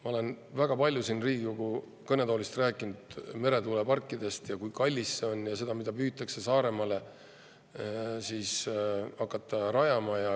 Ma olen väga palju siin Riigikogu kõnetoolist rääkinud meretuuleparkidest, sellest, kui kallis see on, ja sellest, mida püütakse Saaremaale rajama hakata.